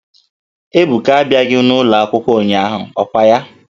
Ebuka a bịaghị n'ụlọ akwụkwọ ụnyahụ, ọ kwa ya?